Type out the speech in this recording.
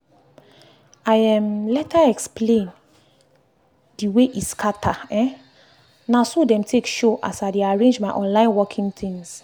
i um explain the way e scatter - um na so dem take show as i dey arrange my online working things